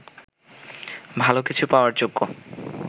ভালো কিছু পাওয়ার যোগ্য